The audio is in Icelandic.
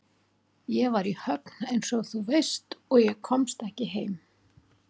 Ég var í Höfn einsog þú veist og komst ekki heim.